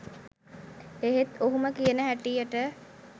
එහෙත් ඔහුම කියන හැටියට